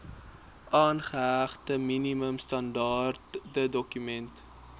aangehegte minimum standaardedokument